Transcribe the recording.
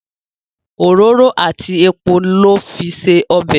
òróró àti èpo ló fí se ọbẹ